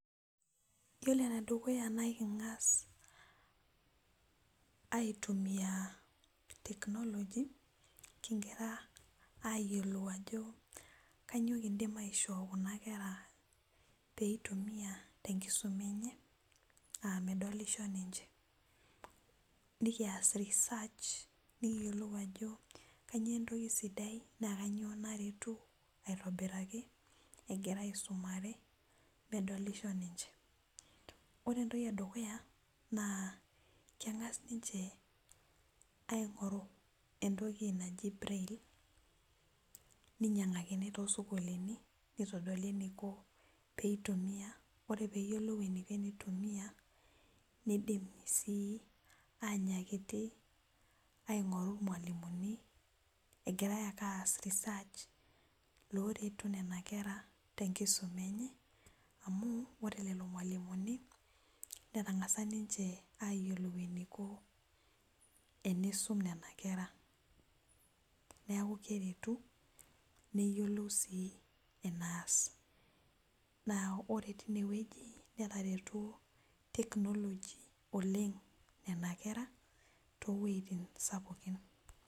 Yiolo enedukuya na ekingas aitumia technology kingira ayiolou ajo kanyio kidim aishoo kuna kera peitumia tenkisuma enye aa medolishobninche nikias reserch nikiyolou ajo kanyio entoki sidai na kanyio naretu aitobiraki egira aisumare medolisho ninche, ore entoki edukuya kengas ninche aingoru entoki naji brail ninyangakini tosokoni nitodoli eniko peitumia ore eniko peitumia nidim sii anyakiti aingoru irmalimulini egirai ake aas research loretu nona kera tenkisuma enye amu ore lolomalimuni netangasa ayiolou enikontenisum nena kera neaku keretu neyiolou sii eneas na ore tinewueji netareto technology oleng nena kera towuejitin sapukin